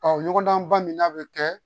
Ɔ ɲɔgɔndanba min n'a bɛ kɛ